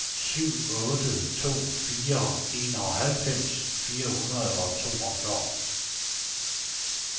syv otte to fire enoghalvfems fire hundrede og toogfyrre